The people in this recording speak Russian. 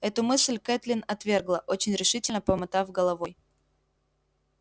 эту мысль кэтлин отвергла очень решительно помотав головой